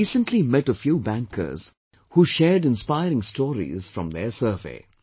I recently met a few bankers, who shared inspiring stories from their survey